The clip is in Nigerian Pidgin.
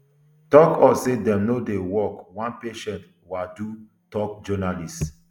tok us say dem no dey work one patient awudu tok journalists